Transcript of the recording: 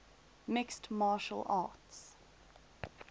mixed martial arts